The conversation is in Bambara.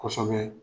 Kosɛbɛ